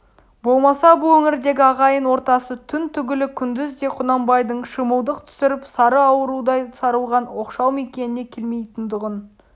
болмаса бұл өңірдегі ағайын ортасы түн түгілі күндіз де құнанбайдың шымылдық түсіріп сары аурудай сарылған оқшау мекеніне келмейтұғын